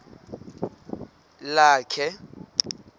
lakhe